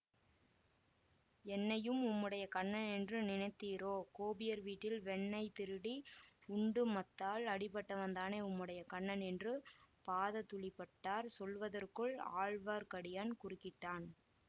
என்னையும் உம்முடைய கண்ணன் என்று நினைத்தீரோ கோபியர் வீட்டில் வெண்ணெய் திருடி உண்டு மத்தால் அடிபட்டவன்தானே உம்முடைய கண்ணன் என்று பாததூளிபட்டர் சொல்வதற்குள் ஆழ்வார்க்கடியான் குறுக்கிட்டான்